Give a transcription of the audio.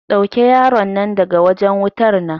Ɗauke yaron nan daga wajen wutar nan.